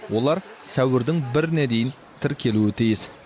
олар сәуірдің біріне дейін тіркелуі тиіс